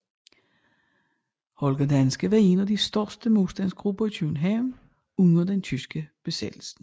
Holger Danske var en af de største modstandsgrupper i København under den tyske besættelse